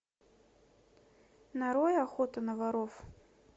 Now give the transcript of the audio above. нарой охоту на воров